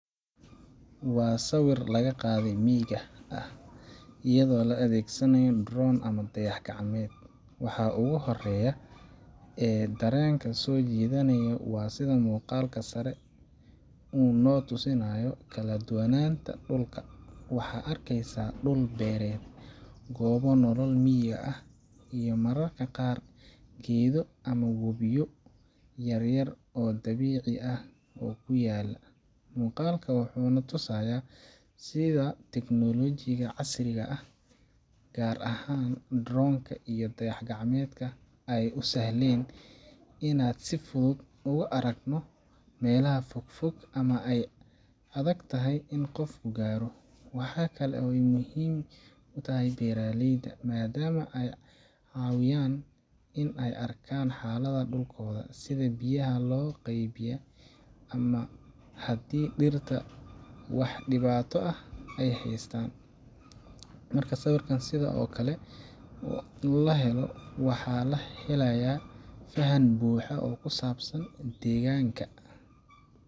Waa sawir laga qaade miyiga iyadoo la adegsanayo drone ama dayax gacmeeyd waxaa ugu horeeya ee dharenka sojidanaya waa sida muuqalka sare uu nootusinayo dhalad wanaga dhulka waxaa arkeysaa dhul bereet goobo nolo miyiga ah iyo mararka qaar geedo iyo wobiyo yaryar oo dhabici ahoo kuyaala, Muuqaalkan wuxuu na tusayaa sida tiknoolajiga casriga ah, gaar ahaan drone ka iyo dayax gacmeedka, ay u sahleen in aan si fudud uga aragno meelaha fog fog ama ay adagtahay in qofku gaaro. Waxa kale oo ay muhiim u tahay beeraleyda, maadaama ay ka caawiyaan inay arkaan xaaladda dhulkooda, sida biyaha loo qaybiyay, ama haddii dhirta wax dhibaato ah ay haystaan. Marka sawir sidan oo kale ah la helo, waxaa la helayaa fahan buuxa oo ku saabsan deegaanka.